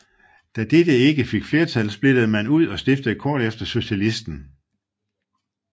Da dette ikke fik flertal splittede man ud og stiftede kort efter Socialisten